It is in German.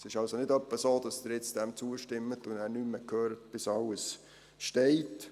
Es ist also nicht etwa so, dass Sie dem jetzt zustimmen und nachher nichts mehr hören werden, bis alles steht.